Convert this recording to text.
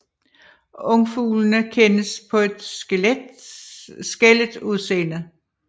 Ungfuglene kendes på et skællet udseende